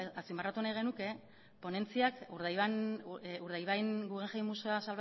azpimarratu nahi genuke ponentziak urdaibain guggenheim museoa